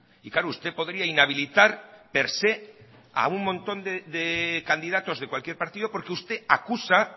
y claro usted podría inhabilitar per se a un montón de candidatos de cualquier partido porque usted acusa